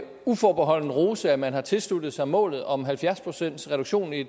uforbeholdent rose at man har tilsluttet sig målet om halvfjerds pcts reduktion i